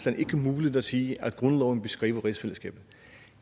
er muligt at sige at grundloven beskriver rigsfællesskabet